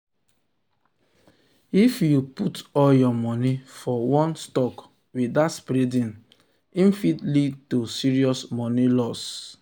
if you um put all your money for one stock without spreading am e fit lead to serious money loss.